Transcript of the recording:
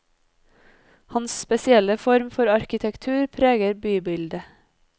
Hans spesielle form for arkitektur preger bybildet.